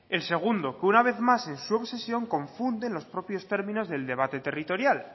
el segundo que una vez más en su obsesión confunde los propios términos del debate territorial